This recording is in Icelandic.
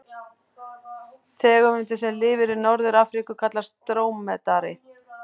Tegundin sem lifir í Norður-Afríku kallast drómedari.